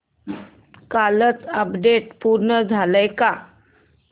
कालचं अपडेट पूर्ण झालंय का